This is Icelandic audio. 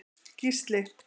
Gísli